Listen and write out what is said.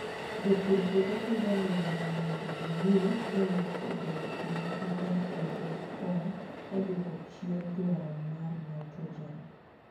Jopur puodho pidho alode mondo gimi lowo obed gi nyak maber kendo gikony e dwoko chien dwaro mar nitrogen.